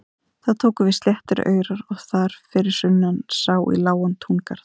Þá tóku við sléttir aurar og þar fyrir sunnan sá í lágan túngarð.